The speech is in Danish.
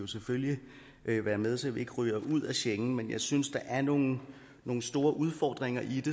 selvfølgelig være med så vi ikke ryger ud af schengen men jeg synes der er nogle nogle store udfordringer i